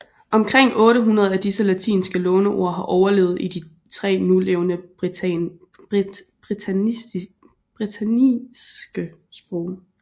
Omkring 800 af disse latinske låneord har overlevet i de tre nulevende britanniske sprog